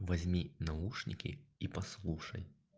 возьми наушники и послушай